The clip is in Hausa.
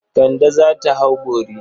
Kand za ta hau bori.